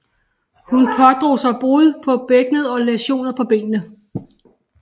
Hun pådrog sig brud på bækkenet og læsioner på benene